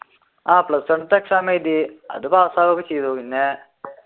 ആഹ് plus one ലത്തെ exam എഴുതി അത് പാസ്സാവുകയും ചെയ്തു പിന്നെ